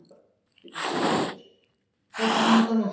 Hérna handan við fjallið.